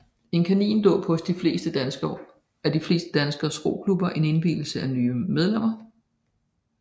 En kanindåb er hos de fleste danske roklubber en indvielse af nye medlemmer